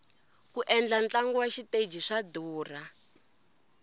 ku endla ntlangu wa xiteji swa durha